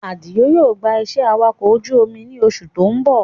Àdìó yóò gbà iṣẹ́ awakọ̀ ojú omi ní oṣù tí ó ń bọ̀